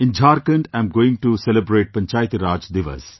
In Jharkhand I am going to celebrate Panchayati Raj Divas